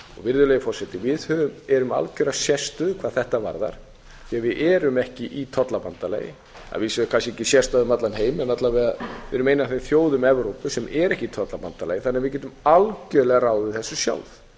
virðulegi forseti við erum með algjöra sérstöðu hvað þetta varðar því að við erum ekki í tollabandalagi að vísu er það kannski ekki sérstaða um allan heim en alla vega við erum ein af þeim þjóðum evrópu sem er ekki í tollabandalagi þannig að við getum algjörlega ráðið þessu sjálf